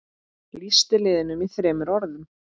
Lýstu liðinu í þremur orðum?